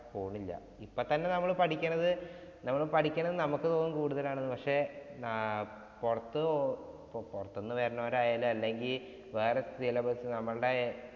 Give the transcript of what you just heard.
പോണില്ല. ഇപ്പം തന്നെ നമ്മള് പഠിക്കണത് നമ്മള് പഠിക്കണത് നമുക്ക് തോന്നും കൂടുതലാണെന്ന്. പക്ഷെ ആഹ് പൊറത്ത് പൊ പൊറത്ത്ന്ന്വരുന്നവരായാലും അല്ലെങ്കി വേറെ syllabus ഞമ്മൾഡേ